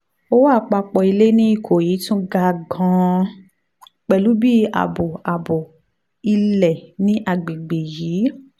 owó àpapọ̀ ilẹ̀ ní ikoyi tún ga gan-an pẹ̀lú bí ààbọ̀ ààbọ̀ ilẹ̀ ní àgbègbè yìí